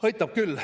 " Aitab küll.